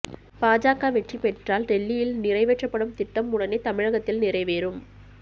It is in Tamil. பாஜக வெற்றி பெற்றால் டெல்லியில் நிறைவேற்றப்படும் திட்டம் உடனே தமிழகத்தில் நிறைவேறும்